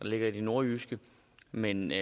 ligger i det nordjyske men